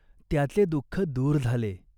त्याचे दुःख दूर झाले.